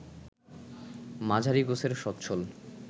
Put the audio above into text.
মাঝারি গোছের সচ্ছল